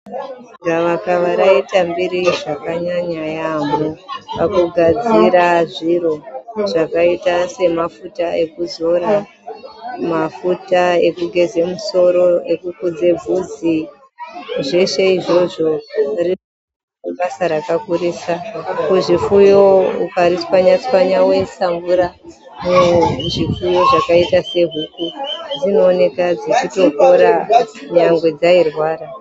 Gavakava raita mbiri zvakanyaya yaambo. Pakugadzira zviro zvakaita sema futa ekuzora ,mafuta ekugeze musoro ekukudze bvudzi. Zveshe izvozvo ibasa rakakurisa. Kuzvipfuyo ukaritswanya tswanya woisa mvura muzvipfuyo zvakaita sehuku dzinowoneka dzichitopora kunyangwe dzayi rwara.